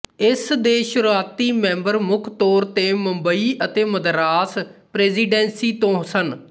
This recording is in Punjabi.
ਇਸ ਦੇ ਸ਼ੁਰੂਆਤੀ ਮੈਂਬਰ ਮੁੱਖ ਤੌਰ ਤੇ ਮੁੰਬਈ ਅਤੇ ਮਦਰਾਸ ਪ੍ਰੈਜੀਡੈਂਸੀ ਤੋਂ ਸਨ